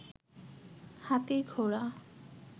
হাতি, ঘোড়া